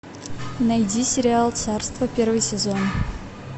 найди сериал царство первый сезон